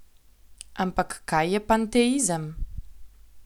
Ampak kaj je panteizem?